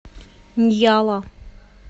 ньяла